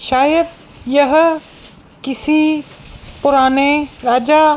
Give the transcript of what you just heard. शायद यह किसी पुराने राजा--